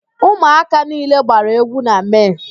Ụmụaka niile gbara égwú na Mee.